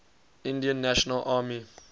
indian national army